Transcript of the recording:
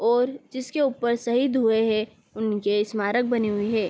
और जिसके ऊपर शहीद हुए है उनके स्मारक बने हुए हैं।